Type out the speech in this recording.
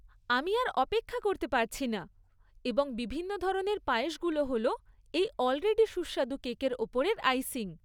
আমি আর অপেক্ষা করতে পারছি না, এবং বিভিন্ন ধরনের পায়েসগুলো হল এই অলরেডি সুস্বাদু কেকের ওপরের আইসিং।